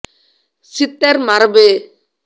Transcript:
சித்தர் மரபு